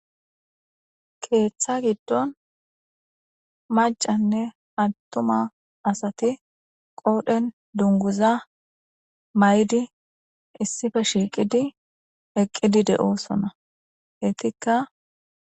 Keththa giddon macca asatine atuma asati qodhen dungguza mayiddi issipe shiqqi eqiddi de'osona.ettika